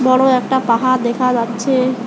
বড়ো একটা পাহাড় দেখা যাচ্ছে।